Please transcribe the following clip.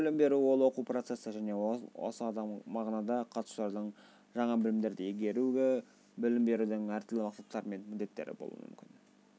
білім беру ол оқу процесі жəне осы мағынада қатысушылардың жаңа білімдерді игеруі білім берудің əр түрлі мақсаттары мен міндеттері болуы мүмкін